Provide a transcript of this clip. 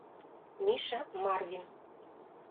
миша марвин